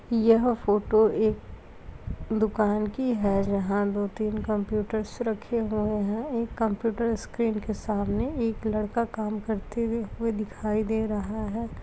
यह फोटो एक दुकान की है जहां दो-तीन कम्प्यूटर्स रखे हुए हैं एक कंप्यूटर स्क्रीन के सामने एक लड़का काम करते हुए दिखाई दे रहा है।